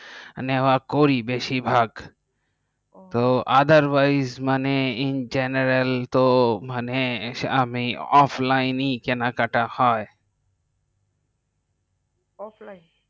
নেওয়া করি বেশি ভাগ তো otherwise in general তো মানে আমি offiline কেনা কাটা হয় offline